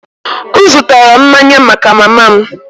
M zụtara mmanya maka mama m